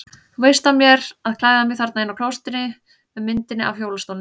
Þú veist af mér að klæða mig þarna inni á klósettinu með myndinni af hjólastólnum.